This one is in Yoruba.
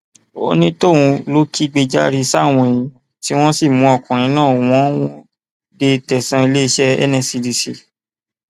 onítọhún ló kẹgbajàre sáwọn èèyàn tí wọn sì mú ọkùnrin náà wọn wò ó dé tẹsán iléeṣẹ nscdc